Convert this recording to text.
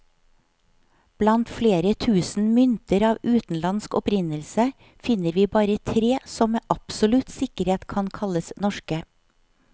Blant flere tusen mynter av utenlandsk opprinnelse, finner vi bare tre som med absolutt sikkerhet kan kalles norske.